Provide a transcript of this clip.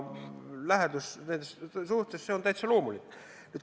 Lähisuhtes on see täitsa loomulik.